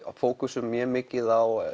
fókusum mjög mikið á